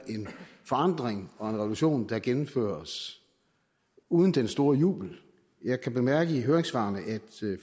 forandring og revolution der gennemføres uden den store jubel jeg kan bemærke i høringssvarene at